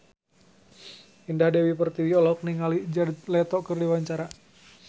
Indah Dewi Pertiwi olohok ningali Jared Leto keur diwawancara